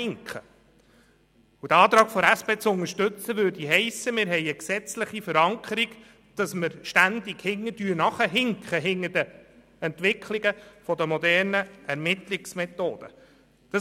Den Antrag der SP zu unterstützen, würde bedeuten, dass es gesetzlich verankert wird, dass wir den Entwicklungen der modernen Ermittlungsmethoden immer hinterherhinken.